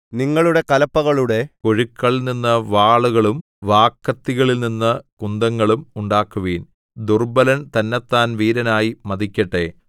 നിങ്ങളുടെ കലപ്പകളുടെ കൊഴുക്കളിൽ നിന്ന് വാളുകളും വാക്കത്തികളിൽ നിന്ന് കുന്തങ്ങളും ഉണ്ടാക്കുവിൻ ദുർബ്ബലൻ തന്നെത്താൻ വീരനായി മതിക്കട്ടെ